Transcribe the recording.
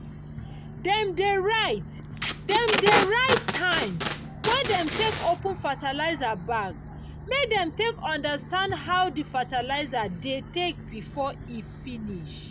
dem dey write dem dey write time wey dem take open fertilizer bag make dem take understand how di fertilizer dey take before e finish.